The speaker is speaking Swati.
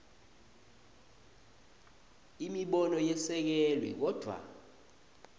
imibono yesekelwe kodvwa